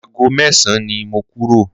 Ago mẹ́san ni mo kúrò.